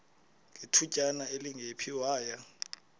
ngethutyana elingephi waya